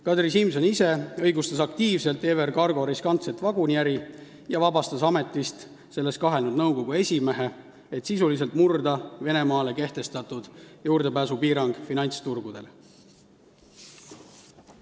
Kadri Simson ise õigustas aktiivselt EVR Cargo riskantset vaguniäri ja vabastas ametist selles kahelnud nõukogu esimehe, et sisuliselt murda Venemaale kehtestatud juurdepääsupiirang finantsturgudele.